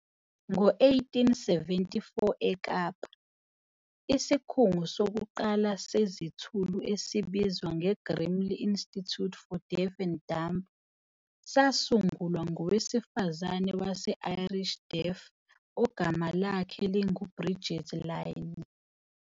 Ngo-1874 eKapa, isikhungo sokuqala sezithulu esibizwa "ngeGrimley Institute for Deaf and Dumb" sasungulwa ngowesifazane wase-Irish Deaf ogama lakhe linguBridget Lynne.